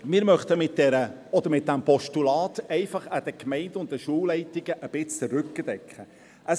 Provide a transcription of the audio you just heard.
Wir möchten mit diesem Postulat einfach den Gemeinden und Schulleitungen ein bisschen den Rücken stärken.